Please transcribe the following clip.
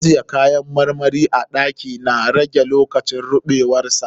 Ajiye kayan marmari a ɗaki na rage lokacin ruɓewar sa.